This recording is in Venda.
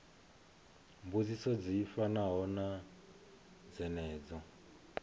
mbudziso dzi fanaho na dzenedzo